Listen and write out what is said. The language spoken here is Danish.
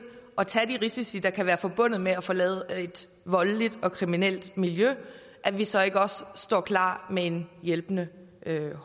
at tage de risici der kan være forbundet med at forlade et voldeligt og kriminelt miljø at vi så ikke også står klar med en hjælpende